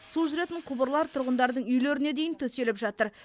су жүретін құбырлар тұрғындардың үйлеріне дейін төселіп жатыр